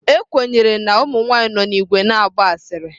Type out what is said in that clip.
Ekwenyere na ụmụ nwanyị nọ n'ìgwè na-agba asịrị.